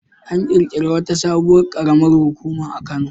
An ƙirƙiri wata sabuwar ƙaramar hukuma a Kano.